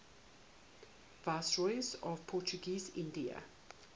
viceroys of portuguese india